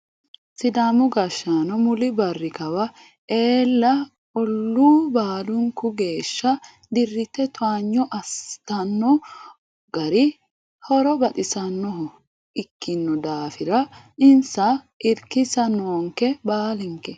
Sidaamu gashshaano muli barri kawa eella ollu baalunku geeshsha dirite towaanyo assittano gari horo baxisanoho ikkino daafira insa irkisa noonke baalinke.